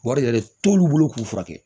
Wari yɛrɛ t'olu bolo k'u furakɛ